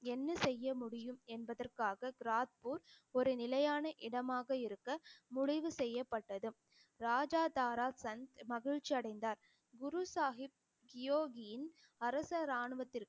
என்ன செய்ய முடியும் என்பதற்காக கிராத்பூர் ஒரு நிலையான இடமாக இருக்க, முடிவு செய்யப்பட்டது. மகிழ்ச்சி அடைந்தார் குரு சாஹிப் யோகியின் அரச ராணுவத்திற்கும்